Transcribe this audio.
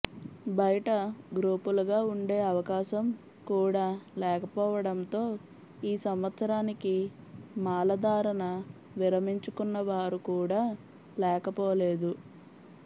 బయట గ్రూపులుగా ఉండే అవకాశం కూడా లేకపోవడంతో ఈ సంవత్సరానికి మాలధారణ విరమించుకున్న వారు కూడా లేకపోలేదు